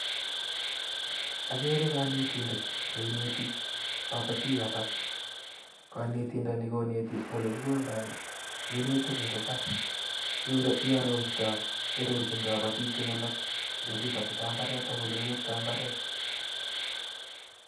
Agere kanetindet ne ineti kapatiik alak. Kanetindani konetichi ole kikoldai minutiik eng' imbar, iarortai , iarorchin kapatiik chun alak ole kipatitai mbareet ak ole kichoptoi mbareet.